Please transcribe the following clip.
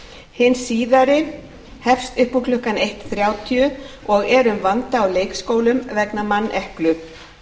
hin síðari hefst upp úr klukkan eitt þrjátíu og er um vanda á leikskólum vegna manneklu